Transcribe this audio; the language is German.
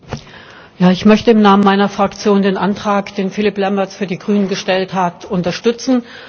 Herr Präsident! Ich möchte im Namen meiner Fraktion den Antrag, den Philippe Lamberts für die Grünen gestellt hat, unterstützen.